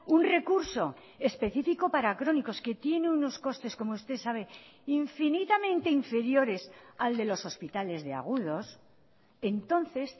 un recurso específico para crónicos que tiene unos costes como usted sabe infinitamente inferiores al de los hospitales de agudos entonces